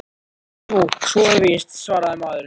Jú, svo er víst- svaraði maðurinn.